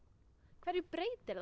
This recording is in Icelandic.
hverju breytir það